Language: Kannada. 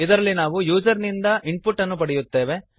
ಇದರಲ್ಲಿ ನಾವು ಯೂಸರ್ ನಿಂದ ಇನ್ಪುಟ್ ಅನ್ನು ಪಡೆಯುತ್ತೇವೆ